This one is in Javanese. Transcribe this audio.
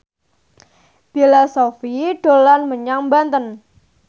Bella Shofie dolan menyang Banten